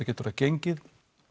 getur gengið